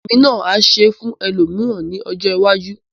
Èmi náà á ṣe fún ẹlòmíràn ní ọjọ́ iwájú.